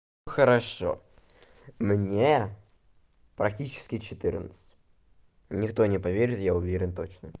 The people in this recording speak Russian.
хорошо мне практически четырнадцать никто не поверит я уверен точно